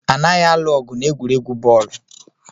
Anaghị alụ ọgụ n'egwuregwu bọọlụ